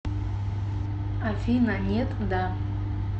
афина нет да